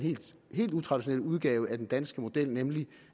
helt utraditionelle udgave af den danske model nemlig